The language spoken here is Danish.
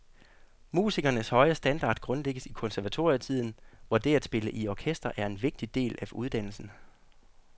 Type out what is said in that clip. Musikernes høje standard grundlægges i konservatorietiden, hvor det at spille i orkester er en vigtig del af uddannelsen.